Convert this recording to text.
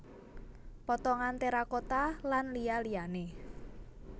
Potongan terakota lan liya liyane